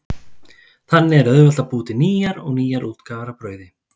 Þannig er auðvelt að búa til nýjar og nýjar útgáfur af brauði.